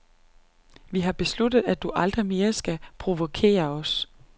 Vi har besluttet, at du aldrig mere skal provokere os.